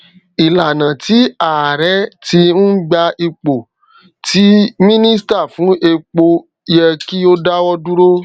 ìlànà tí ààrẹ tí n gbà ipò tí mínísítà fún epo yẹ kí o dáwọ dúró